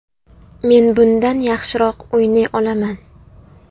Men bundan yaxshiroq o‘ynay olaman”.